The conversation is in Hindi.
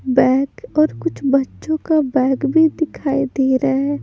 बैग और कुछ बच्चों का बैग भी दिखाई दे रहा है।